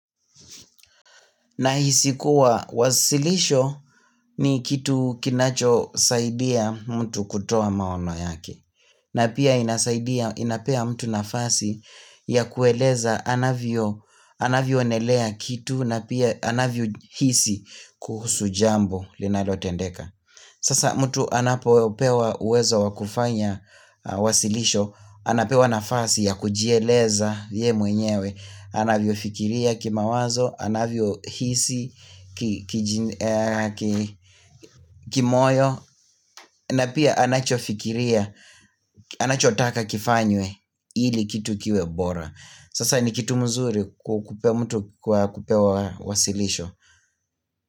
Nahisi kuwa wasilisho ni kitu kinacho saidia mtu kutoa maono yake. Na pia inasaidia inapea mtu nafasi ya kueleza anavyo anavyo enelea kitu na pia anavyo hisi kuhusu jambo linalo tendeka. Sasa mtu anapo pewa uwezo wakufanya wasilisho. Anapewa nafasi ya kujieleza yeye mwenyewe anavyo fikiria kimawazo, anavyo hisi, kimoyo na pia anachofikiria, anachotaka kifanywe ili kitu kiwe bora. Sasa ni kitu mzuri kupea mtu kwa kupewa wasilisho.